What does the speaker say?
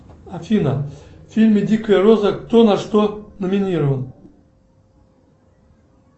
афина в фильме дикая роза кто на что номинирован